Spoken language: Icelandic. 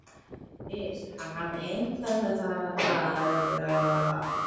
En fyrst hann hafði heimtað þetta þá varð að taka því.